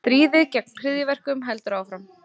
Stríðið gegn hryðjuverkum heldur áfram